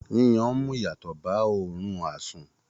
yíyan n mú ìyàtọ̀ ba óòrun àsun.